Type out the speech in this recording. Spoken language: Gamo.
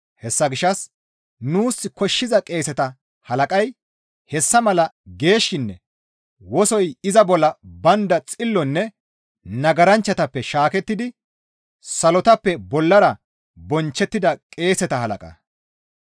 Hessa gishshas nuus koshshiza qeeseta halaqay hessa mala geeshshinne wosoy iza bolla baynda xillonne nagaranchchatappe shaakettidi salotappe bollara bonchchettida qeeseta halaqa.